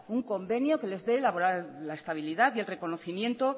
un convenio que les dé la estabilidad y el reconocimiento